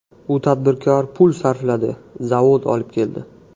U tadbirkor pul sarfladi, zavod olib keldi.